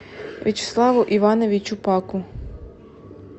вячеславу ивановичу паку